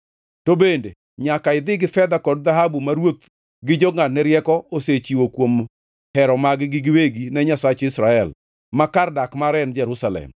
To bende, nyaka idhi gi fedha kod dhahabu ma ruoth gi jongʼadne rieko osechiwo kuom hero mag-gi giwegi ne Nyasach Israel, ma kar dak mare en Jerusalem,